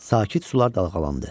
Sakit sular dalğalandı.